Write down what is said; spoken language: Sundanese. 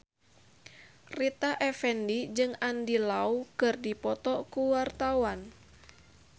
Rita Effendy jeung Andy Lau keur dipoto ku wartawan